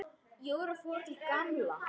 Jóra fór til Gamla.